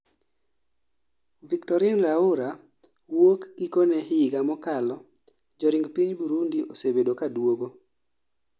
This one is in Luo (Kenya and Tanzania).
Victorine Laura, wuok gikone higa mokalo joring piny Burundi osebedo kaduogo